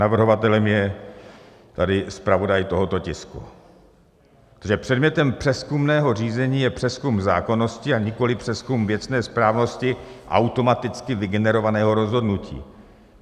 Navrhovatelem je tady zpravodaj tohoto tisku, protože předmětem přezkumného řízení je přezkum zákonnosti, a nikoliv přezkum věcné správnosti automaticky vygenerovaného rozhodnutí.